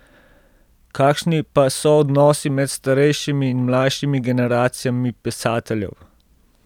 Kakšni pa so odnosi med starejšimi in mlajšimi generacijami pisateljev?